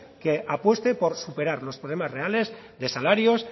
que apueste por superar los problemas reales de salarios